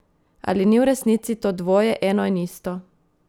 Ali ni v resnici to dvoje eno in isto?